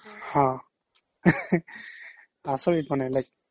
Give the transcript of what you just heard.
হা আচৰিত মানে like